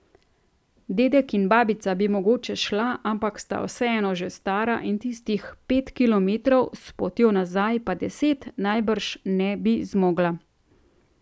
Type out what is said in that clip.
Dedek in babica bi mogoče šla, ampak sta vseeno že stara in tistih pet kilometrov, s potjo nazaj pa deset, najbrž ne bi zmogla.